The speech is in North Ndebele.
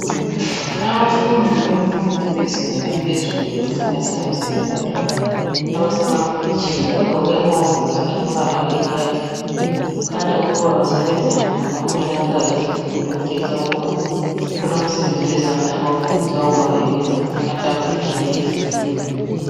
Abafundi bemfundo yezinga laphezulu esingathi ngabe secondary loba abasemakolitshini bagqoke ama wovolosi alombala oyi khaki. Kukhanya ukuba basebenza ngama planka lezigodo okutshengisa ukuba kukhona umsebenzi wezandla abawufundiswayo ongaba yikwenza amatafula lezitulo.